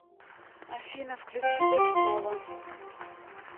афина включи дэшнова